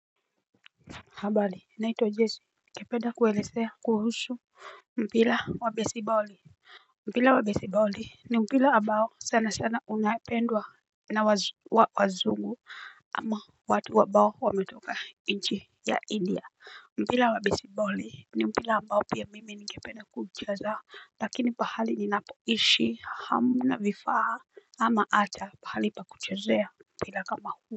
Habali naitwa jesi Kepeda kuwelezea kuhusu mpila wa besiboli. Mpila wa besiboli ni mpila abao sana sana unapendwa na wazungu ama watu abao wametoka inchi ya india. Mpila wa besiboli ni mpila abao pia mimi nike penda kucheza. Lakini pahali ni napoishi hamna vifaa ama ata pahali pa kuchezea mpila kama huu.